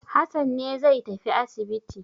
Hassan ne zai tafi asibiti.